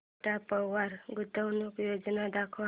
Tata Power गुंतवणूक योजना दाखव